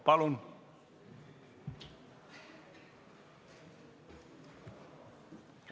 Palun!